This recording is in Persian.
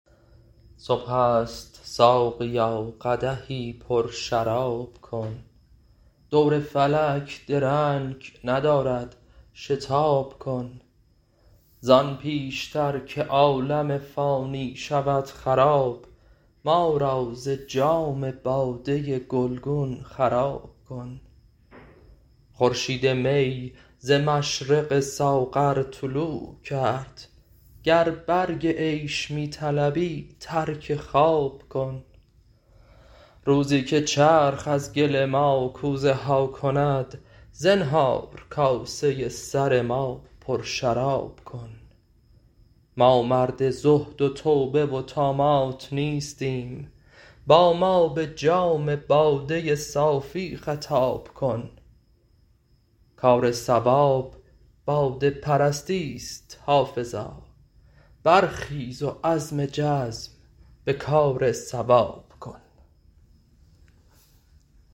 صبح است ساقیا قدحی پرشراب کن دور فلک درنگ ندارد شتاب کن زان پیش تر که عالم فانی شود خراب ما را ز جام باده گلگون خراب کن خورشید می ز مشرق ساغر طلوع کرد گر برگ عیش می طلبی ترک خواب کن روزی که چرخ از گل ما کوزه ها کند زنهار کاسه سر ما پرشراب کن ما مرد زهد و توبه و طامات نیستیم با ما به جام باده صافی خطاب کن کار صواب باده پرستی ست حافظا برخیز و عزم جزم به کار صواب کن